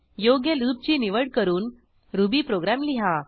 योग्य लूपची निवड करून रुबी प्रोग्रॅम लिहा